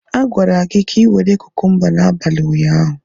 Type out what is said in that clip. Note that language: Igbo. A gwara gị ka ị were kukumba n'abalị ụnyaahụ.